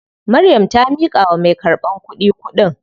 Maryam ta miƙawa mai karɓan kuɗin.